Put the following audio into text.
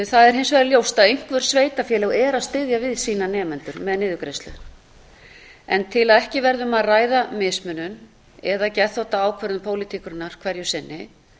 það er hins vegar ljóst að einhver sveitarfélög eru að styðja við sína nemendur með niðurgreiðslu til að ekki verði um að ræða mismunun eða geðþóttaákvörðun pólitíkurinnar hverju sinni